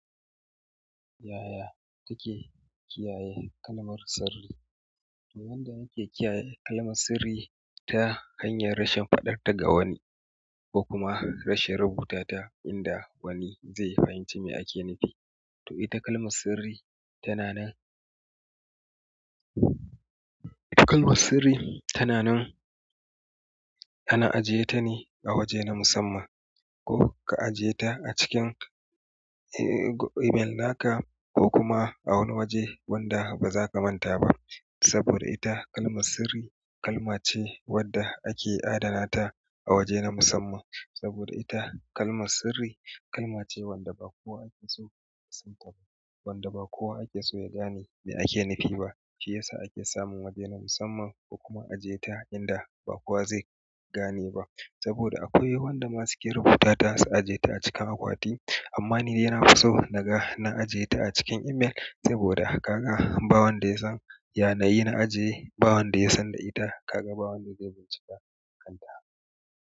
Yaya take kiyaye kalmar sirri? To wanda yake kiyaye kalmar sirri ta hanyar rashin faɗar ta ga wani ko kuma rashin rubuta ta inda wani zai fahimci me ake nufi. To ita kalmar sirri tana nan. Kalmar sirri tana nan, ana ajiye ta ne a waje na musamman ko ka ajiye ta a cikin email naka ko kuma a wani waje wanda baza ka manta ba. Saboda ita kalmar sirri kalma ce wadda ake adana ta a waje na musamman. Saboda ita kalmar sirri kalma ce wadda ba kowa ake so ya gane me ake nufi ba shiyasa ake samun waje na musamman ko kuma a ajiye ta inda ba kowa zai gane ba. Saboda akwai wanda ma su ke rubuta ta su ajiye ta a cikin akwati amma nidai na fiso naga na ajiye ta a cikin email saboda ka ga ba wanda ya san ya nayi na ajiye, ba wanda ya san da ita, ka ga ba wanda zai bincika kanta.